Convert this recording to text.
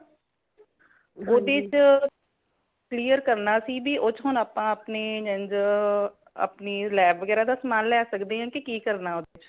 ਉਦੇ ਚ clear ਕਰਨਾ ਸੀ ਭੀ ਉਦੇ ਵਿੱਚ ਹੁਣ ਆਪਾ ਆਪਣੇ ਜੇਨਝ ਆਪਣੀ lab ਵਗੈਰਾ ਦੇ ਸਮਾਨ ਲੈ ਸੱਕਦੇ ਕਿ ਕਰਨਾ ਉਦੇ ਵਿੱਚ।